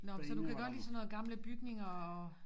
Nå men så du kan godt lide sådan noget gamle bygninger og